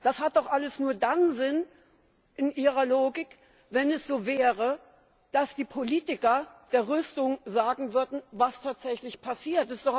Das hat doch alles nur dann Sinn in Ihrer Logik, wenn es so wäre, dass die Politiker der Rüstung sagen würden, was tatsächlich passiert.